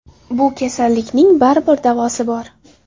Bu kasallikning baribir davosi bor.